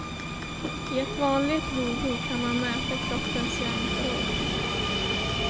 I ett vanligt blodprov kan man mäta kroppens järnförråd.